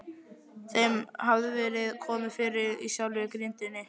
Þeim hafði verið komið fyrir í sjálfri grindinni.